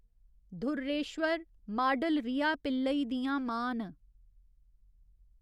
धुर्रेश्वर model Riya Pillai दियां मां न।